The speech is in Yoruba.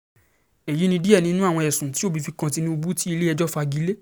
èyí ni díẹ̀ nínú àwọn ẹ̀sùn tí òbí fi kan tinubu tí ilé-ẹjọ́ fagi lé